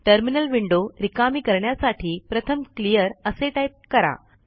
terminal window रिकामी करण्यासाठी प्रथमclear असे टाईप करा